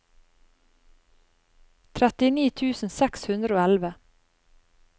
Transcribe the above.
trettini tusen seks hundre og elleve